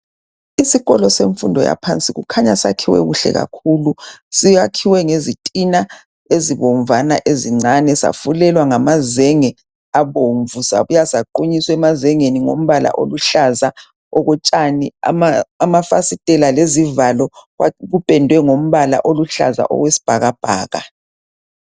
Isikolo semfundo yaphansi kukhanya sakhiwe kuhle kakhulu. Sakhiwe ngezintina ezibomvana ezincane safulelwa ngamazenge abomvu sabuya saqhunyiswa emazengeni ngompala oluhlaza okwetshani . Amafasitela lezivalo kupendiwe ngompala oluhlaza okwesibhakabhaka.